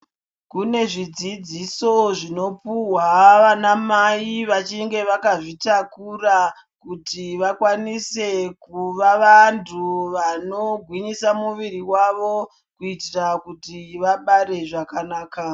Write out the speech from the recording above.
Kune zvidzidziso zvinopuhwa vanamai vachinge vakazvitakura kuti vakwanise kuva vantu vanogwinyisa muviri wavo kuitira kuti vabare zvakanaka.